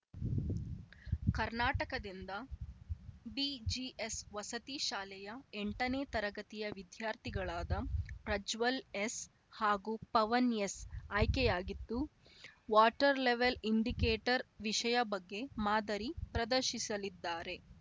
ಕರ್ನಾಟಕದಿಂದ ಬಿಜಿಎಸ್‌ ವಸತಿ ಶಾಲೆಯ ಎಂಟನೇ ತರಗತಿಯ ವಿದ್ಯಾರ್ಥಿಗಳಾದ ಪ್ರಜ್ವಲ್‌ ಎಸ್‌ ಹಾಗೂ ಪವನ್‌ ಎಸ್‌ ಆಯ್ಕೆಯಾಗಿದ್ದು ವಾಟರ್ ಲೆವೆಲ್‌ ಇಂಡಿಕೇಟರ್ ವಿಷಯ ಬಗ್ಗೆ ಮಾದರಿ ಪ್ರದರ್ಶಿಸಲಿದ್ದಾರೆ